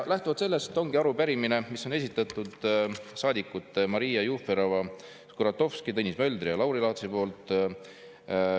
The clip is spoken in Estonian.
Lähtuvalt sellest ongi arupärimine, mis on esitatud saadikute Maria Jufereva-Skuratovski, Tõnis Möldri ja Lauri Laatsi poolt.